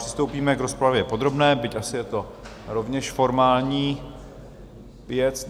Přistoupíme k rozpravě podrobné, byť asi je to rovněž formální věc.